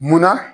Munna